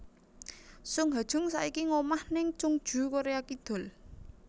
Sung Ha Jung saiki ngomah nèng Chungju Korea Kidul